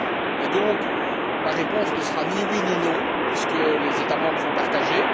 Et, donc, ma réponse ne sera ni oui ni non puisque les États membres sont partagés.